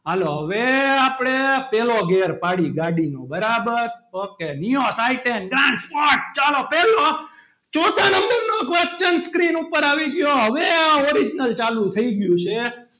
હાલો હવે આપણે પહેલો ગેર પાડીએ ગાડીનો બરાબર okay nios iten grand sport ચાલો પહેલો ચોથા number નો question screen ઉપર આવી ગયો હવે આ original ચાલુ થઈ ગયું છે.